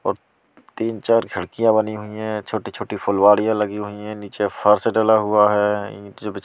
और तीन-चार खिड़कियां बनी हुई हैं छोटी छोटी फुलवरियाँ लगी हुई हैं नीचे फर्श डला हुआ है ।